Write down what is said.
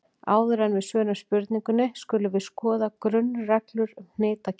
Áður en við svörum spurningunni skulum við skoða grunnreglur um hnitakerfi.